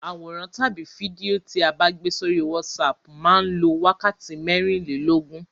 Àwòrán tàbí fídíò tí a bá gbé sórí WhatsApp máa lọ wákàtí mẹ́rìnlóógún.